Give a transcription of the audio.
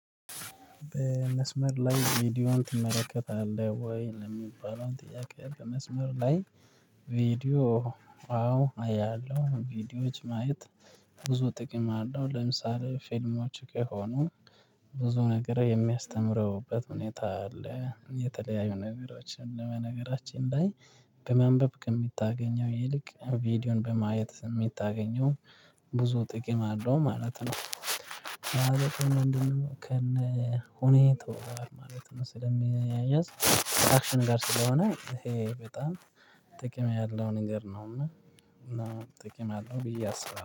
መስመር ላይ ቪዲዮውን ትመለከታለህ ወይ ለሚባለው ጥያቄ በመስመር ላይ? ቪዲዮ አዎ አያለሁ ቪዲዮዎች ማየት ብዙ ጥቅም አለው። ለምሳሌ ፊልሞች ከሆኑ ብዙ ነገር የሚያስተምሩበት ሁኔታ አለ። የተለያዩ ነገሮችን በነገራችን ላይ በማንበብ ከምታገኘው ይልቅ ቪዲዮን በማየት የምታገኘው ብዙ ጥቅም አለው ማለት ነው። ማለት ምንድነው ከነ ሁኔታው ማለት ነው? ስለሚያያዝ አክሽን ጋር ስለሆነ ይሄ በጣም ጥቅም ያለው ነገር ነውና እና ጥቅም ያለው ብዬ አስባለሁ